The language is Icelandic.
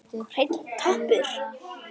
Hreinn toppur.